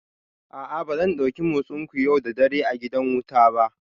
A'a ba zan dauki motsinku yau da dare a gidan wuta ba